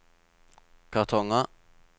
kartonger